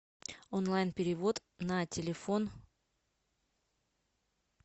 онлайн перевод на телефон